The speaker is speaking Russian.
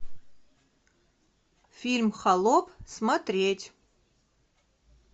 фильм холоп смотреть